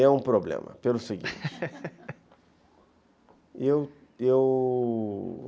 É um problema, pelo seguinte. eu eu